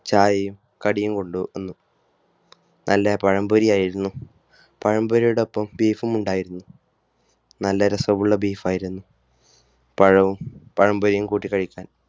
ചായയും കടിയും കൊണ്ടുവന്നു. നല്ല പഴംപൊരിയായിരുന്നു. പഴംപൊരിയുടെ ഒപ്പം Beef ഉംഉണ്ടായിരുന്നു. നല്ല രസമുള്ള Beef ആയിരുന്നു. പഴവും പഴംപൊരിയും കൂട്ടി കഴിക്കാൻ